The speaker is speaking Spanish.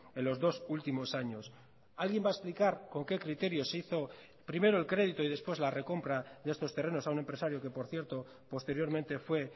en los dos últimos años alguien va a explicar con qué criterios se hizo primero el crédito y después la recompra de estos terrenos a un empresario que por cierto posteriormente fue